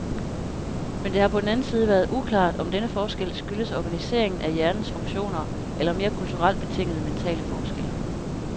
Men det har på den anden side været uklart, om denne forskel skyldes organiseringen af hjernens funktioner eller mere kulturelt betingede mentale forskelle.